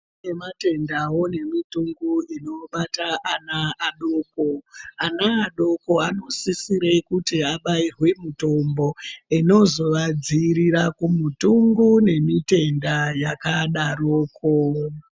Kune matendawo nemitungu inobata ana adoko. Ana adoko anosisire kuti abairwe mitombo inozoadziirira kumitungu nemitenda yakadaroko.